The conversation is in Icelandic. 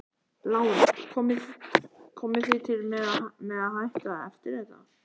Lára: Komið þið til með að hætta eftir þetta?